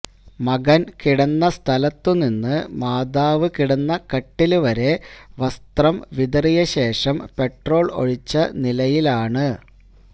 മകന് കിടന്ന സ്ഥലത്തുനിന്ന് മാതാവ് കിടന്ന കട്ടില് വരെ വസ്ത്രം വിതറിയശേഷം പെട്രോള് ഒഴിച്ച നിലയിലാണ്